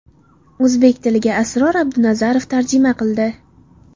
O‘zbek tiliga Asror Abdunazarov tarjima qildi.